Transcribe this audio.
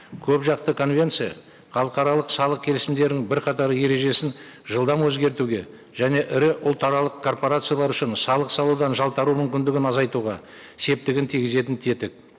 көпжақты конвенция халықаралық салық келісімдерінің бірқатар ережесін жылдам өзгертуге және ірі ұлтаралық корпорациялар үшін салық салудан жалтару мүмкіндігін азайтуға септігін тигізетін тетік